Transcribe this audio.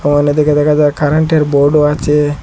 ওয়ালের দিকে দেখা যায় কারেন্টের বোর্ডও আছে।